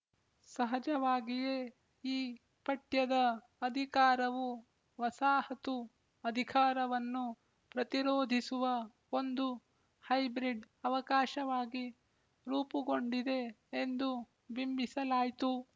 ಸಹಜವಾಗಿಯೇ ಈ ಪಠ್ಯದ ಅಧಿಕಾರವು ವಸಾಹತು ಅಧಿಕಾರವನ್ನು ಪ್ರತಿರೋಧಿಸುವ ಒಂದು ಹೈಬ್ರಿಡ್ ಅವಕಾಶವಾಗಿ ರೂಪುಗೊಂಡಿದೆ ಎಂದು ಬಿಂಬಿಸಲಾಯ್ತು